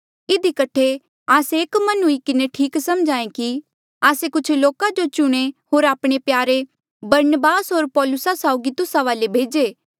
इधी कठे आस्से एक मन हुई किन्हें ठीक सम्झेया कि आस्से कुछ लोका जो चुणे होर आपणे प्यारे बरनबास होर पौलुसा साउगी तुस्सा वाले भेजे